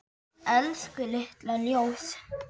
Elsku litla ljós.